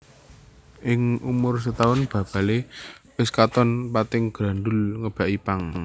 Ing umur setaun babalé wis katon pating grandhul ngèbaki pang